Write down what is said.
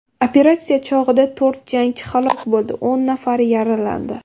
Operatsiya chog‘ida to‘rt jangchi halok bo‘ldi, o‘n nafari yaralandi.